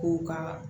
K'u ka